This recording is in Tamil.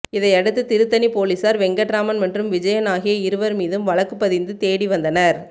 இதையடுத்து திருத்தணி பொலிஸார் வெங்கட்ராமன் மற்றும் விஜயன் ஆகிய இருவர் மீதும் வழக்கு பதிந்து தேடி வந்தனர்